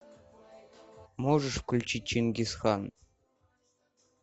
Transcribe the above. можешь включить чингисхан